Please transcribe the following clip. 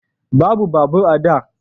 Babu babur a da